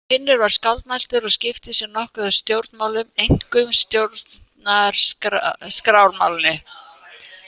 Finnur var skáldmæltur og skipti sér nokkuð af stjórnmálum, einkum stjórnarskrármálinu.